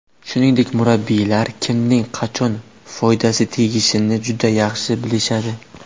Shuningdek, murabbiylar kimning qachon foydasi tegishini juda yaxshi bilishadi.